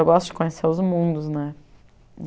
Eu gosto de conhecer os mundos, né?